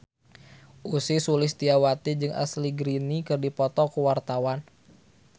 Ussy Sulistyawati jeung Ashley Greene keur dipoto ku wartawan